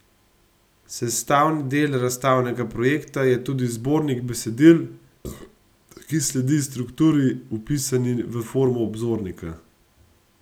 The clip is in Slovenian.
Sestavni del razstavnega projekta je tudi zbornik besedil, ki sledi strukturi, vpisani v formo obzornika.